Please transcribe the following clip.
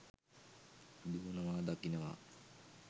දුවනවා දකිනවා